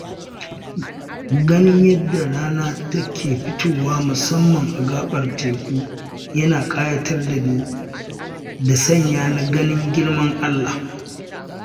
Ganin yadda rana ke fitowa musamman a gaɓar teku yana ƙayatar da ni da sanya ni ganin girman Allah.